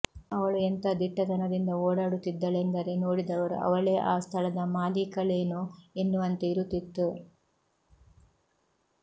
ಅವಳು ಎಂಥ ದಿಟ್ಟತನದಿಂದ ಓಡಾಡುತ್ತಿದ್ದಳೆಂದರೆ ನೋಡಿದವರು ಅವಳೇ ಆ ಸ್ಥಳದ ಮಾಲೀಕಳೇನೋ ಎನ್ನುವಂತೆ ಇರುತ್ತಿತ್ತು